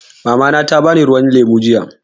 Mamana ta bani ruwan lemu jiya.